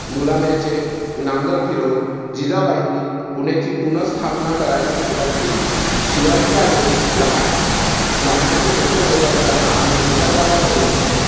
मुलाम्याचे नांगर फिरवून जिजाबाईंनी पुण्याची पुनःस्थापना करायला सुरुवात केली. शिवाजी राजे लहान लहांनाचे मोठे होत असताना आणि मोठ झाल्यावरही